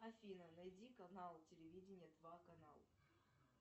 афина найди канал телевидения два канал